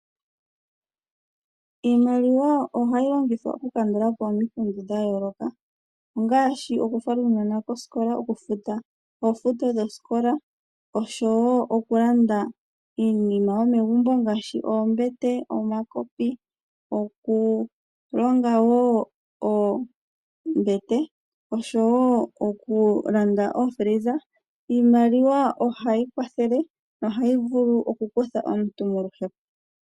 Iimaliwa ohayi longithwa okukandulapo omikundu dha yooloka, ngaashi oku fala uunona kosikola, okufuta osikola, nosho woo okulanda iinima yomegumbo ngaashi oombete, omakopi nokulanda oofiliza, iimaliwa ohayi kutha aantu moluhepo ngele ye yina.